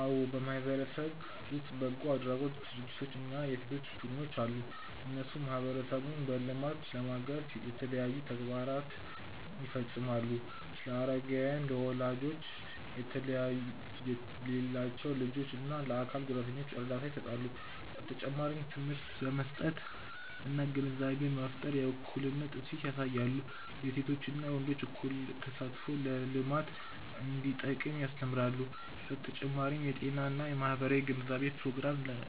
አዎ በማህበረሰብ ውስጥ በጎ አድራጎት ድርጅቶች እና የሴቶች ቡድኖች አሉ። እነሱ ማህበረሰቡን በልማት ለማገዝ የተለያዩ ተግባራትን ይፈጽማሉ። ለአረጋውያን፣ ለወላጅ የሌላቸው ልጆች እና ለአካል ጉዳተኞች እርዳታ ይሰጣሉ። በተጨማሪም ትምህርት በመስጠት እና ግንዛቤ በመፍጠር የእኩልነት እሴት ያሳያሉ። የሴቶችና ወንዶች እኩል ተሳትፎ ለልማት እንዲጠቅም ያስተምራሉ። በተጨማሪም የጤና እና የማህበራዊ ግንዛቤ ፕሮግራሞችን